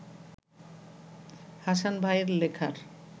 হাসান ভাইয়ের লেখার